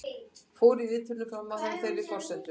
Fóru viðtölin fram á þeirri forsendu